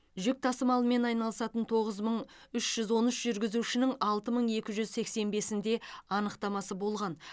жүк тасымалымен айналысатын тоғыз мың үш жүз он үш жүргізушінің алты мың екі жүз сексен бесінде анықтамасы болған